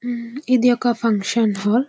ఇది ఒక function hall .